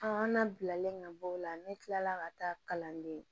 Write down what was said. an na bilalen ka bɔ o la ne kilala ka taa kalanden